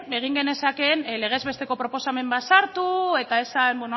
egin genezakeen legez besteko proposamen bat sartu eta esan